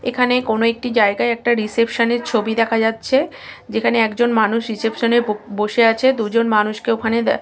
এখানে কোনো একটি জায়গায় একটা রিসেপশন -এর ছবি দেখা যাচ্ছে। যেখানে একজন মানুষ রিসেপশন -এ বসে আছে। দুজন মানুষকে ওখানে দেখা--